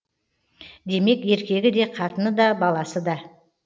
демек еркегі де қатыны да баласы да